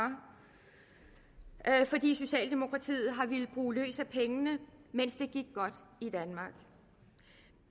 fordi socialdemokratiet har villet bruge løs af pengene mens det gik godt i danmark